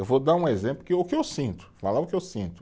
Eu vou dar um exemplo, que o que eu sinto, falar o que eu sinto.